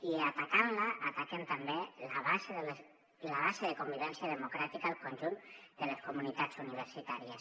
i atacant la ataquen també la base de convivència democràtica al conjunt de les comunitats universitàries